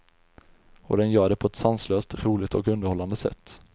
Och den gör det på ett sanslöst, roligt och underhållande sätt.